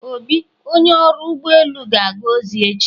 Obi, Onye ọrụ ụgbọ elu ga-aga ozi echi.